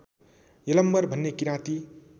यलम्बर भन्ने किराँती